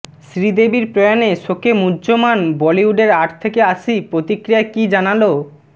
শ্রীদেবীর প্রয়াণে শোকে মূহ্যমান বলিউডের আট থেকে আশি প্রতিক্রিয়ায় কী জানাল